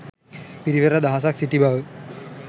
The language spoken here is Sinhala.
පිරිවර දහසක් සිටි බව